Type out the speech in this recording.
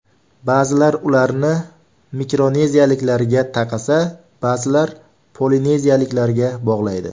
Ba’zilar ularni mikroneziyaliklarga taqasa, boshqalar polineziyaliklarga bog‘laydi.